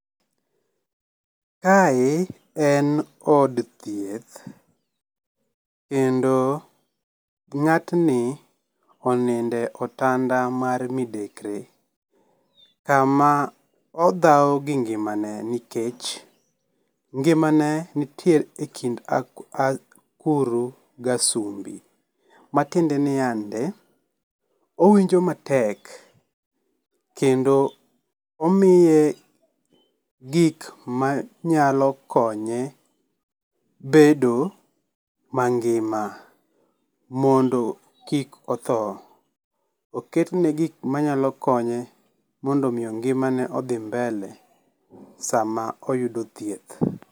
Kae en od thieth, kendo ngátni oninde otanda mar midekre, kama odhawo gi ngimane, nikech, ngimane nitiere e kind akuru gasumbi, matiende niande, owinjo matek kendo omiye gik manyalo konye bedo mangima mondo kik otho. Oketne gik manyalo konye mondo omiyo ngimane odhi mbele sama oyudo thieth.